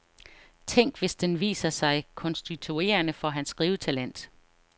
Tænk hvis den viser sig konstituerende for hans skrivetalent.